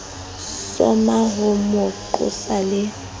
soma ho mo qosa le